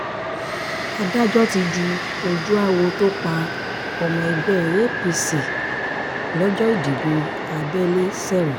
adájọ́ ti ju ojúáwọ̀ tó pa ọmọ ẹgbẹ́ apc lọ́jọ́ ìdìbò abẹ́lé sẹ́wọ̀n